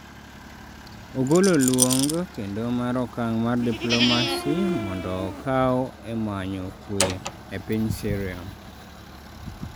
ogolo luong kendo mar okang' mar diplomacy mondo okaw e manyo kue e piny Syria